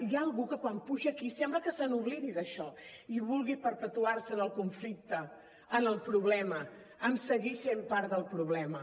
hi ha algú que quan puja aquí sembla que se n’oblidi d’això i vulgui perpetuar se en el conflicte en el problema en seguir sent part del problema